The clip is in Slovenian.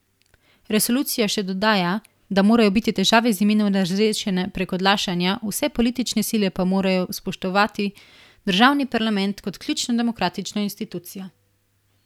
Resolucija še dodaja, da morajo biti težave z imenom razrešene brez odlašanja, vse politične sile pa morajo spoštovati državni parlament kot ključno demokratično institucijo.